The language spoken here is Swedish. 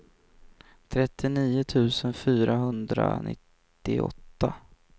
trettionio tusen fyrahundranittioåtta